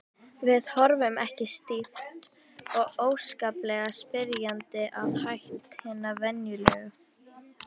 Við horfðum ekki stíft og óskaplega spyrjandi að hætti hinna venjulegu